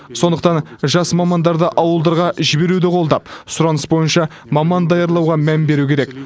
сондықтан жас мамандарды ауылдарға жіберуді қолдап сұраныс бойынша маман даярлауға мән беру керек